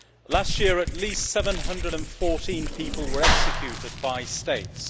Last year, at least 714 people were executed by states.